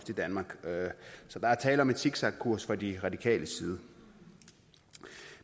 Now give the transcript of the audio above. i danmark så der er tale om en zigzagkurs fra de radikales side